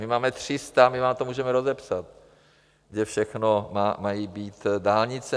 My máme 300, my vám to můžeme rozepsat, kde všechno mají být dálnice.